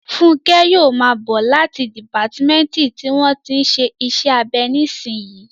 Fúnkẹ́ yóò máa bọ̀ láti dìpátímẹ́ǹtì tí wọ́n tí ń ṣe iṣẹ́ abẹ nísìnyí